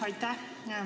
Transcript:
Aitäh!